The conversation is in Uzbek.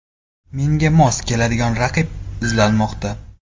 Menga mos keladigan raqib izlanmoqda.